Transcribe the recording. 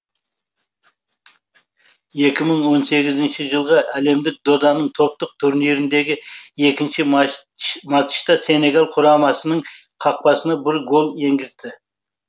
екі мың он сегізінші жылғы әлемдік доданың топтық турниріндегі екінші матчта сенегал құрамасының қақпасына бір гол енгізді